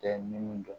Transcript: Tɛ ni mun